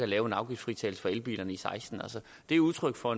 lave afgiftsfritagelse for elbilerne i seksten altså det er udtryk for